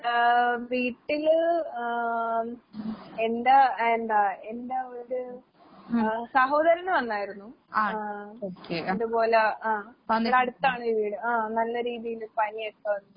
ഏ വീട്ടില് ആഹ് എന്റെ എന്താ എന്റെയൊരു ആഹ് സഹോദരന് വന്നായിരുന്നു. ആഹ് ഇതുപോലെ ആഹ് ഇവടടുത്താണ് വീട് ആഹ് നല്ല രീതീല് പനിയൊക്കെ വന്ന്.